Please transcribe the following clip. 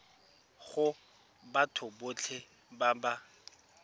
go batho botlhe ba ba